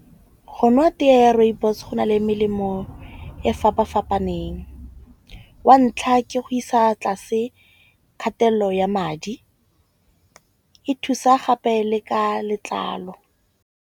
Go nwa tee ya rooibos go na le melemo e fapafapaneng. Wa ntlha, ke go isa tlase kgatello ya madi e thusa gape le ka letlalo.